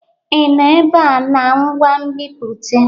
Ị nọ ebe a na ngwa nbipute?